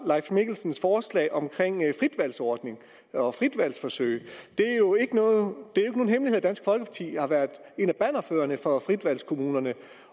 leif mikkelsens forslag om fritvalgsordning og fritvalgsforsøg det er jo ikke nogen hemmelighed at dansk folkeparti har været en af bannerførerne for frit valgs kommunerne